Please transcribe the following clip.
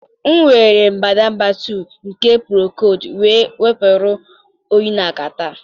m were mbadamba 2 nke procold wee wepụrụ m oyi na catarrh